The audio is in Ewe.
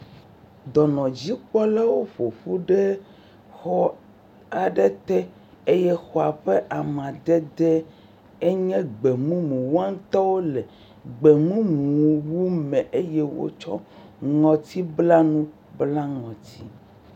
Dɔnɔdzikpɔlawo ƒoƒu ɖe xɔ aɖe te eye xɔa ƒe amadede nye gbe mumu woawo ŋutɔ wole gbemumu wu me eye wotsɔ ŋɔtiblanuwo bla ŋɔti.